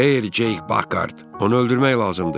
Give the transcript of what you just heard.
Xeyr, Ceyk Pakhart, onu öldürmək lazımdır.